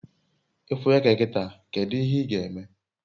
ifu eke kita, kedu ihe ga eme?